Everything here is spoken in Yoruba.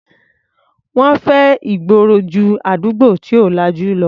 Wọ́n fẹ́ ìgboro ju àdúgbò tí ò lajú lọ.